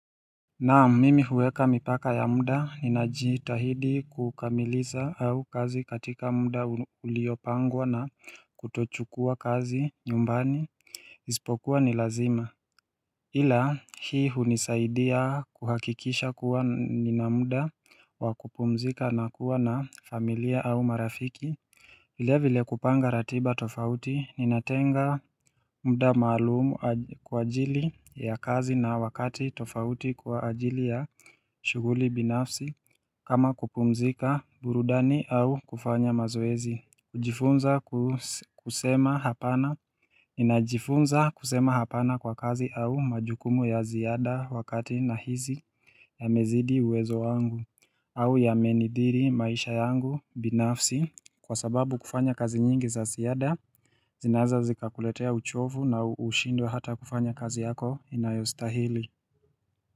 Na mimi huweka mipaka ya mda ninajitahidi kukamiliza au kazi katika mda uliopangwa na kutochukua kazi nyumbani ispokuwa ni lazima ila hii hunisaidia kuhakikisha kuwa ninamda wa kupumzika na kuwa na familia au marafiki vile vile kupanga ratiba tofauti ninatenga mda maalumu kwa ajili ya kazi na wakati tofauti kwa ajili ya shuguli binafsi kama kupumzika burudani au kufanya mazoezi kujifunza kusema hapana Inajifunza kusema hapana kwa kazi au majukumu ya ziada wakati na hizi ya mezidi uwezo wangu au ya menidiri maisha yangu binafsi Kwa sababu kufanya kazi nyingi za ziyada zinaaza zika kuletea uchovu na ushindwa hata kufanya kazi yako inayostahili.